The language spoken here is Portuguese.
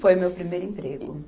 Foi meu primeiro emprego.